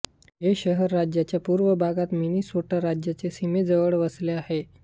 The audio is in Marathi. हे शहर राज्याच्या पूर्व भागात मिनेसोटा राज्याच्या सीमेजवळ वसले आहे